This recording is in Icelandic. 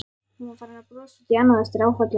Hún var farin að brosa út í annað eftir áfallið.